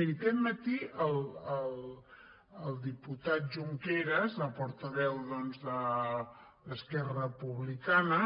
miri aquest matí el diputat junqueras el portaveu d’esquerra republicana